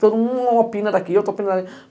Todo mundo opina daqui, outro opina dali.